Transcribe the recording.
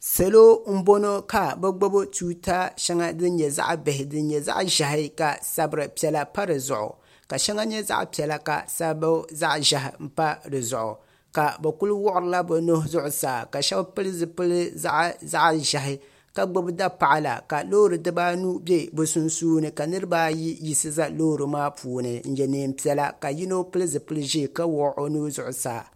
salo n bɔŋɔ ka be gbabi tuta shɛŋa din nyɛ zaɣ' bih' din nyɛ zaɣ' ʒiɛhi ka sabiripiɛlla pa di zuɣ' ka shɛŋa zaɣ' piɛlla ka sabiriʒiɛhi pa di zuɣ' ka bɛ kuli wuɣila bɛ nuhi zuɣ' saa shɛbi pɛli zibili zaɣ' ʒiɛhi ka gbabi da paɣ' la ka lori gba mi bɛ be sunsuuni ka niribaayi yiɣisi za lori maa puuni ka yɛ nɛɛpiɛla ka yino yiɣisi ʒɛ zuɣ saa ka yɛ nɛɛpiɛla